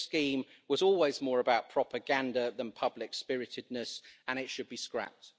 This scheme was always more about propaganda than public spiritedness and it should be scrapped.